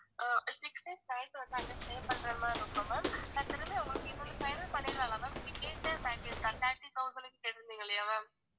அஹ் six days night வந்து அங்க stay பண்ணறது மாதிரி இருக்கும் ma'am உங்களுக்கு இது வந்து final பண்ணிடலாம்ல ma'am நீங்க கேட்ட package தான் thir~ thirty thousand க்கு கேட்டுருந்திங்க இல்லையா ma'am